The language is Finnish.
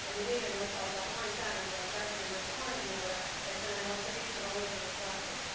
Eli niiden osalta lainsäädäntöä täytyy myös arvioida, jotta niillä olisi riittävä oikeusvarmuus.